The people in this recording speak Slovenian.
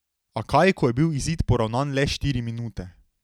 A kaj, ko je bil izid poravnan le štiri minute ...